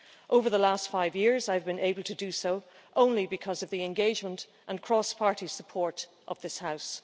Over the last five years, I've been able to do so only because of the engagement and cross party support of this House.